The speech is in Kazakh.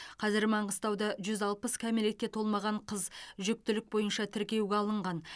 қазір маңғыстауда жүз алпыс кәмелетке толмаған қыз жүктілік бойынша тіркеуге алынған